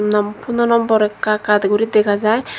nom phono number ekka ekka guri dega jai.